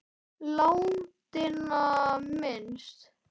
Látinna minnst.